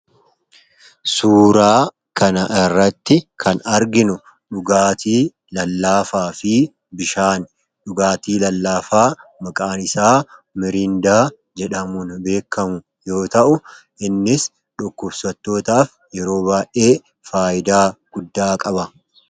Suuraa kana irratti kan arginu dhugaatii lallaafaa fi bishaani. Dhugaatii lallaafaa maqaan isaa Miriindaa jedhamuun beekkamu yoo ta'u, innis dhukkubsattootaaf yeroo baay'ee faayidaa guddaa qaba.